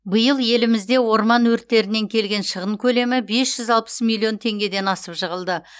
биыл елімізде орман өрттерінен келген шығын көлемі бес жүз алпыс миллион теңгеден асып жығылды